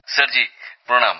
sir ji প্রণাম